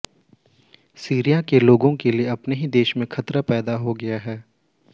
Syria के लोगों के लिए अपने ही देश में खतरा पैदा हो गया है